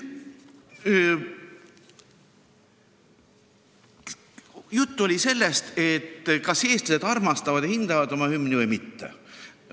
Juttu oli sellest, kas eestlased armastavad ja hindavad oma hümni või mitte.